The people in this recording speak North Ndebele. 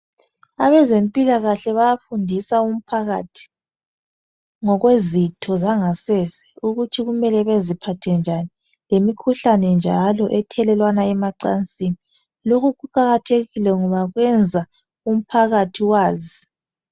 Abezempilakahle bayafundisa umphakathi ngokwezitho zangasese ukuthi kumele beziphathe njani lemikhuhlane njalo ethelelwana emacansini . Lokhu kuqakathekile ngoba kwenza umphakathi wazi .